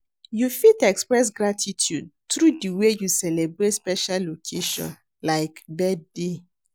You fit express gratitude through di way you celebrate special occasion, like birthday.